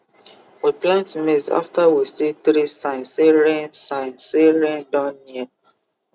we plant maize after we see three sign say rain sign say rain don near